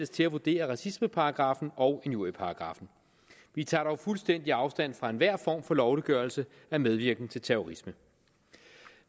til at vurdere racismeparagraffen og injurieparagraffen vi tager dog fuldstændig afstand fra enhver form for lovliggørelse af medvirken til terrorisme